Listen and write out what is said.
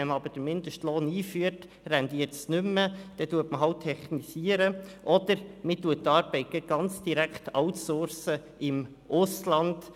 Wenn man aber den Mindestlohn einführt, rentiert es nicht mehr, dann technisiert man halt oder man outsourct die Arbeit gerade ganz ins Ausland.